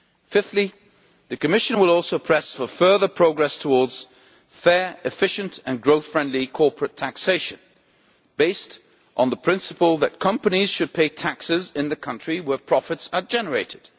Fifthly, the Commission will also press for further progress towards fair, efficient and growth friendly corporate taxation, based on the principle that companies should pay taxes in the country where profits are generated.